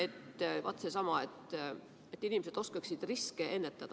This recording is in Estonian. see , et inimesed oskaksid riske ennetada.